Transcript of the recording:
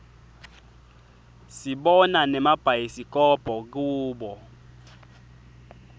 sibona nemabhayisikobho kubo